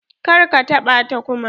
Kar ka taɓa ta kuma.